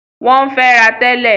Wọ́n ń fẹ́ra tẹ́lẹ̀.